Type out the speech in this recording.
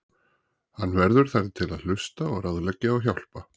Og hann verður þar til að hlusta og ráðleggja og hjálpa.